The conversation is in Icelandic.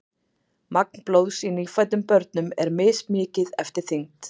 magn blóðs í nýfæddum börnum er mismikið eftir þyngd